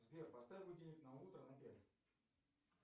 сбер поставь будильник на утро на пять